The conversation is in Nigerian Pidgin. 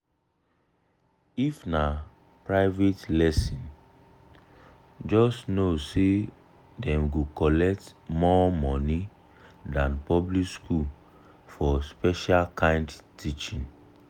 if na private lesson just know say dem go collect more money than public school for special kind teaching.